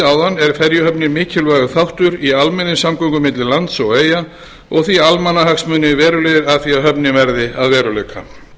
áðan er ferjuhöfnin mikilvægur þáttur í almenningssamgöngum milli lands og eyja og því almannahagsmunir verulegir af því að höfnin verði að veruleika